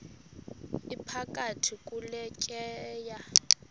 iphakathi kule tyeya